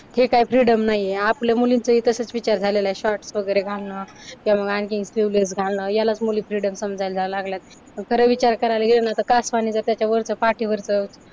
हे काय फ्रीडम नाही आहे. आपल्या मुलींचंही तसंच विचार झालेलं आहे, शॉर्ट्स वगैरे घालणं किंवा आणखीन स्लिव्हलेस घालणं यालाच मुली फ्रीडम समजायला जायला लागलेत, खरं विचार करायला गेलं ना तर कासवाने जर त्याच्यावरचं पाठीवरचं